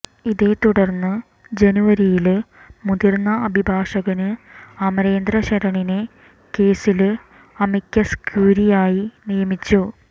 ഇതേത്തുടര്ന്ന് ജനുവരിയില് മുതിര്ന്ന അഭിഭാഷകന് അമരേന്ദ്ര ശരണിനെ കേസില് അമിക്കസ് ക്യൂറിയായി നിയമിച്ചു